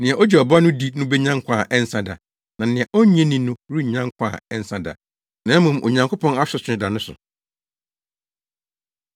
Nea ogye Ɔba no di no benya nkwa a ɛnsa da, na nea onnye no nni no rennya nkwa a ɛnsa da, na mmom Onyankopɔn asotwe da no so.”